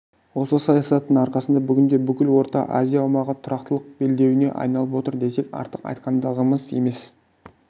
осы саясаттың арқасында бүгінде бүкіл орта азия аумағы тұрақтылық белдеуіне айналып отыр десек артық айтқандығымыз емес